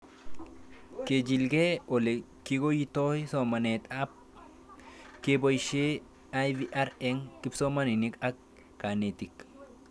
Kechig'ile ole kikoitoi somanet ab kepoishe IVR eng' kipsomanik ak kanetik